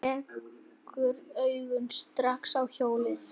Rekur augun strax í hjólið.